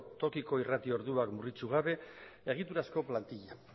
tokiko irrati orduak murriztu gabe egiturazko plantila